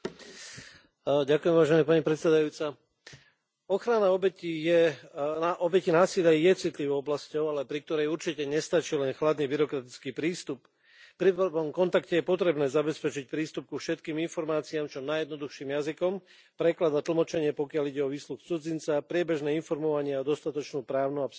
Vážená pani predsedajúca, ochrana obetí násilia je citlivou oblasťou, pri ktorej určite nestačí len chladný byrokratický prístup. Pri prvom kontakte je potrebné zabezpečiť prístup ku všetkým informáciám čo najjednoduchším jazykom, preklad a tlmočenie, pokiaľ ide o výsluch cudzinca a priebežné informovanie, a dostatočnú právnu a psychologickú podporu.